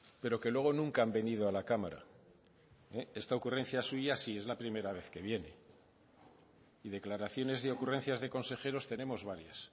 pero que luego nunca han venido a la cámara esta ocurrencia suya sí es la primera vez que viene y declaraciones de ocurrencias de consejeros tenemos varias